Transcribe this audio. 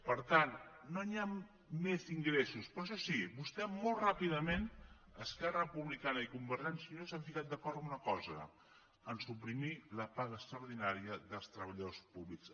per tant no hi ha més ingressos però això sí vostès molt ràpidament esquerra republicana i convergència i unió s’han posat d’acord en una cosa a suprimir la paga extraordinària dels treballadors públics